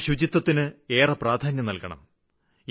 നാം ശുചിത്വത്തിന് ഏറെ പ്രാധാന്യം നല്കണം